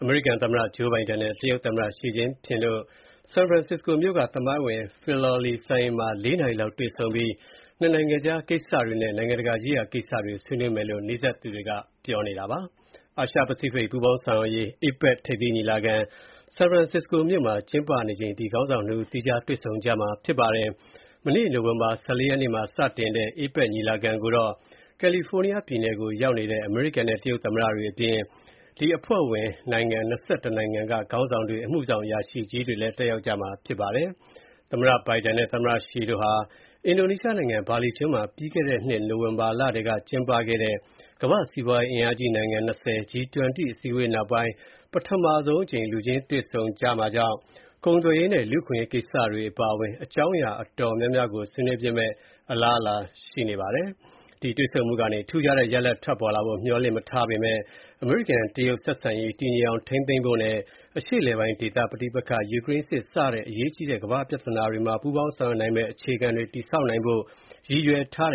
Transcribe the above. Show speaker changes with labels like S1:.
S1: အမေရိကန်သမ္မတဂျိုးဘိုင်ဒန်နဲ့ တရုတ်သမ္မတရှီကျင့်ပင်တို့ ဒီကနေ့ ဆန်ဖရန်စစ္စကို (San Francisco) မြို့က သမိုင်းဝင် Filoli စံအိမ်မှာ ၄ နာရီလောက် တွေ့ဆုံပြီး၊ ၂ နိုင်ငံကြား ကိစ္စတွေနဲ့ နိုင်ငံတကာရေးရာကိစ္စတွေကို ဆွေးနွေးမယ်လို့ နီးစပ်သူတွေက ပြောပါတယ်။ အာရှပစိဖိတ် ပူးပေါင်းဆောင်ရွက်ရေး (APEC) ထိပ်သီးညီလာခံ ဆန်ဖရန်စစ္စကိုမြို့မှာ ကျင်းပနေချိန် သီးခြားတွေ့ဆုံကြမှာပါ။ မနေ့ နိုဝင်ဘာ ၁၄ ရက်နေ့မှာ စတင်တဲ့ APEC ညီလာခံကိုတော့ ကယ်လီဖိုးနီးယားပြည်နယ်ကို ရောက်နေတဲ့ အမေရိကန်နဲ့ တရုတ်သမ္မတတွေအပြင် အဖွဲ့ဝင် ၂၁ နိုင်ငံက ခေါင်းဆောင်တွေ၊ အမှုဆောင် အရာရှိကြီးတွေလည်း တက်ရောက်မှာ ဖြစ်ပါတယ်။ သမ္မတဘိုင်ဒန်နဲ့ တရုတ်သမ္မတရှီတို့ဟာ အင်ဒိုနီးရှားနိုင်ငံ ဘာလီကျွန်းမှာ ပြီးခဲ့တဲ့နှစ်နိုဝင်ဘာလထဲ ကျင်းပခဲ့တဲ့ ကမ္ဘာ့စီးပွားရေးအင်အားကြီး နိုင်ငံ ၂၀ (G-20) အစည်းအဝေးနောက်ပိုင်း ပထမဆုံးအကြိမ် လူချင်းတွေ့ဆုံကြမှာ ဖြစ်တာကြောင့် ကုန်သွယ်ရေးနဲ့ လူ့အခွင့်အရေး ကိစ္စတွေ အပါအဝင် အကြောင်းအရာ တော်တော်များများကို ဆွေးနွေးဖြစ်မယ့် အလားအလာရှိပါတယ်။ တွေ့ဆုံမှုကနေ ထူးခြားတဲ့ ရလဒ်ထွက်ပေါ်လာဖို့ မျှော်လင့်မထားကြပေမယ့် အမေရိကန်၊ တရုတ်ဆက်ဆံရေး တည်ငြိမ်အောင်ထိန်းသိမ်းဖို့နဲ့ အရှေ့အလယ်ပိုင်းဒေသ ပဋိပက္ခ၊ ယူကရိန်းစစ်စတဲ့ အရေးကြီးတဲ့ ကမ္ဘာ့ပြဿနာတွေမှာ ပူးပေါင်းဆောင်ရွက်နိုင်မယ့် အခြေခံတွေ တည်ဆောက်နိုင်ဖို့ ရည်ရွယ်ထားတ